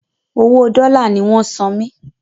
Owo dòla ní wón san mí